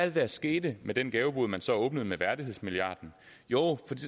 det der skete med den gavebod man så åbnede med værdighedsmilliarden jo